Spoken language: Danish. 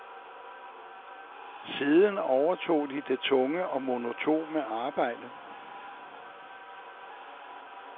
Siden overtog de det tunge og monotone arbejde.